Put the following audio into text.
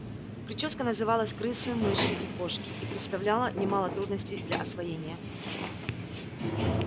причёска называлась крысы мыши и кошки и представляла немало трудностей для освоения